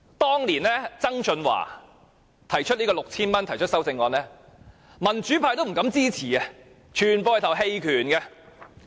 當年曾俊華就派發 6,000 元提出修正案，民主派也不敢支持，全部人投棄權票。